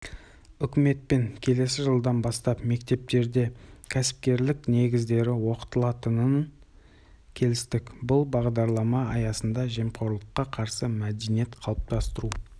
үкіметпен келесі жылдан бастап мектептерде кәсіпкерлік негіздері оқытылатынын келістік бұл бағдарлама аясында жемқорлыққа қарсы мәдениет қалыптастыру